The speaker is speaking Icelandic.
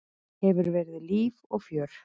Hefur verið líf og fjör.